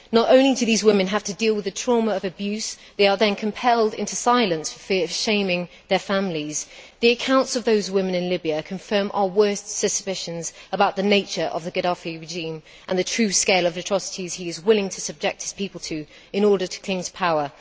Not only do these women have to deal with the trauma of abuse, but they are then compelled into silence for fear of shaming their families. The accounts of those women in Libya confirm our worst suspicions about the nature of the Gaddafi regime and the true scale of the atrocities he is willing to subject his people to in order to cling to power.